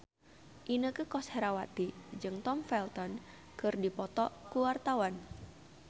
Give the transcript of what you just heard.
Inneke Koesherawati jeung Tom Felton keur dipoto ku wartawan